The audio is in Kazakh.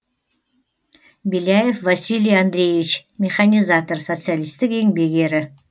беляев василий андреевич механизатор социалистік еңбек ері